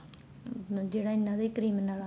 ਜਿਹੜਾ ਇਹਨਾ ਦੇ criminal